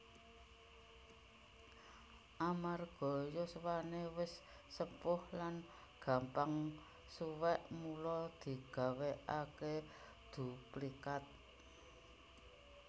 Amarga yuswane wis sepuh lan gampang suwek mula digawékake duplikat